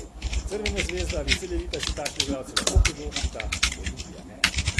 Crvena zvezda ali Cedevita si takšne igralce lahko privoščita, Olimpija ne.